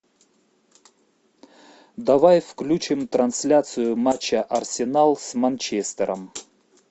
давай включим трансляцию матча арсенал с манчестером